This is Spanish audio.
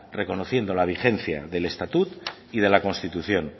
reconociendo la vigencia del estatut y de la constitución